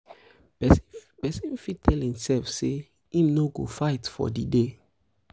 um persin fit tell persin fit tell um imself say im no go fight for di um day